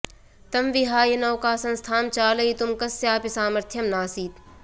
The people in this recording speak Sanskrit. तं विहाय नौका संस्थां चालयितुं कस्यापि सामर्थ्यं नासीत्